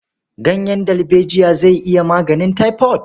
Ganyen dalbejiya zai iya maganin taifod.